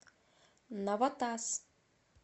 навотас